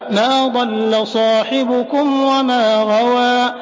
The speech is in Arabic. مَا ضَلَّ صَاحِبُكُمْ وَمَا غَوَىٰ